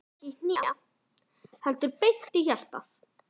Ég fæ ekki í hnén, heldur beint í hjartað.